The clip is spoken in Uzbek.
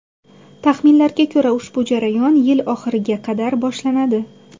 Taxminlarga ko‘ra ushbu jarayon yil oxiriga qadar boshlanadi.